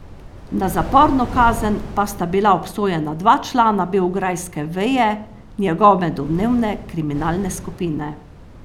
Na zaporno kazen pa sta bila obsojena dva člana beograjske veje njegove domnevne kriminalne skupine.